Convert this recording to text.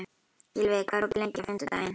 Gylfi, hvað er opið lengi á fimmtudaginn?